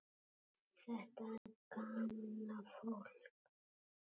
Þetta gamla fólk.